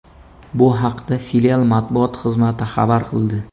Bu haqda filial matbuot xizmati xabar qildi.